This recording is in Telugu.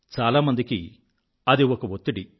చాలామందికి అది ఒక ఒత్తిడి